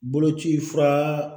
Boloci fura